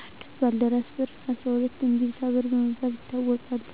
11. ባልደራስ በር 12. እምቢልታ በር በመባል ይታወቃሉ